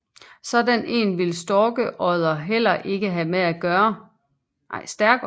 Sådan en ville Stærkodder heller ikke have med at gøre